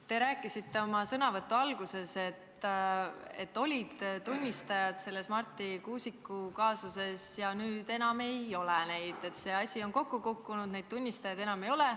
Te rääkisite oma sõnavõtu alguses, et Marti Kuusiku kaasuses olid tunnistajad ja nüüd neid enam ei ole, et see asi on kokku kukkunud, neid tunnistajaid enam ei ole.